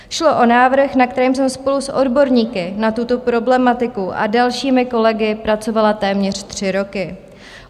Šlo o návrh, na kterém jsem spolu s odborníky na tuto problematiku a dalšími kolegy pracovala téměř tři roky.